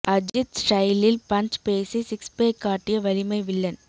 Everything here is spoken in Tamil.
அஜித் ஸ்டைலில் பன்ச் பேசி சிக்ஸ் பேக் காட்டிய வலிமை வில்லன்